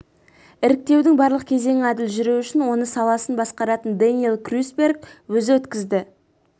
іріктеудің барлық кезеңі әділ жүруі үшін оны саласын басқаратын дэниэл крюсберг өзі өткізді